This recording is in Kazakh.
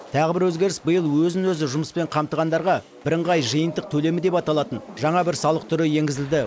тағы бір өзгеріс биыл өзін өзі жұмыспен қамтығандарға бірыңғай жиынтық төлемі деп аталатын жаңа бір салық түрі енгізілді